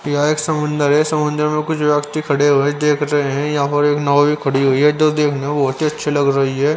यहा एक समुन्दर है समुंदर में कुछ व्यक्ति खड़े हुए है देख रहे हैं यहां और एक नाओ भी खड़ी हुई है जो देखने में बहुत ही अच्छी लग रही है.